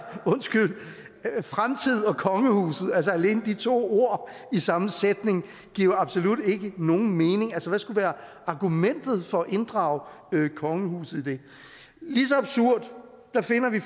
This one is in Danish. undskyld mig fremtid og kongehuset alene de to ord i samme sætning giver absolut ikke nogen mening hvad skulle være argumentet for at inddrage kongehuset i det lige så absurd finder vi